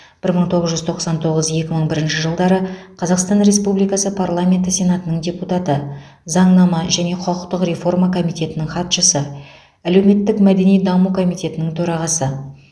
бір мың тоғыз жүз тоқсан тоғыз екі мың бірінші жылдары қазақстан республикасы парламенті сенатының депутаты заңнама және құқықтық реформа комитетінің хатшысы әлеуметтік мәдени даму комитетінің төрағасы